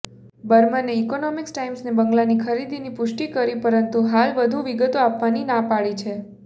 બર્મને economics ટાઈમ્સને બંગલાની ખરીદીની પુષ્ટિ કરી પરંતુ હાલ વધુ વિગતો આપવાની ના પાડી છે